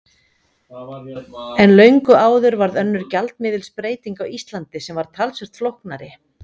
En löngu áður varð önnur gjaldmiðilsbreyting á Íslandi sem var talsvert flóknari.